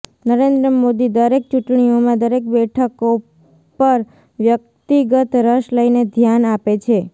નરેન્દ્ર મોદી દરેક ચૂંટણીઓમાં દરેક બેઠકો પર વ્યક્તિગત રસ લઇને ધ્યાન આપે છે